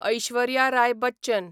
Aishwarya Rai Bachchan